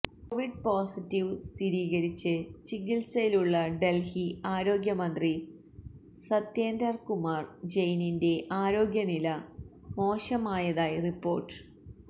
Covid positive സ്ഥിരീകരിച്ച് ചികിത്സയിലുള്ള ഡല്ഹി ആരോഗ്യ മന്ത്രി സത്യേന്ദര് കുമാര് ജയിനിന്റെ ആരോഗ്യ നില മോശമായതായി റിപ്പോര്ട്ട്